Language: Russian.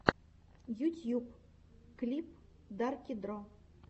ютьюб клип дарки дро